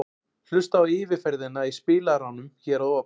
Hlustaðu á yfirferðina í spilaranum hér að ofan.